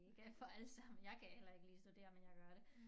Det ikke for alle sammen jeg kan heller ikke lide at studere men jeg gør det